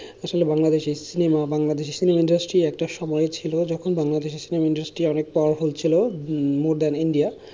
আসলে Bangladeshi cinema Bangladeshi film industry একটা সময় ছিল, যখন বাংলাদেশে film industry অনেক powerful ছিল উম more than India